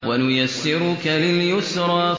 وَنُيَسِّرُكَ لِلْيُسْرَىٰ